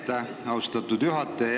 Aitäh, austatud juhataja!